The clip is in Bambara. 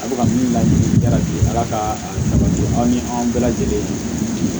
A bɛ ka min laɲini arati ala ka salati aw ni anw bɛɛ lajɛlen